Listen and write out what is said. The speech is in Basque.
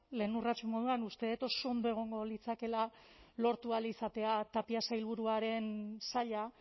lehen urrats moduan uste dut oso ondo egongo litzatekeela lortu ahal izatea tapia sailburuaren saila